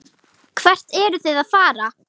Hvert ertu að fara?